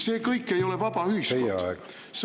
See kõik ei ole vaba ühiskond.